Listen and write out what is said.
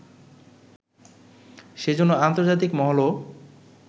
সেজন্য আন্তর্জাতিক মহলও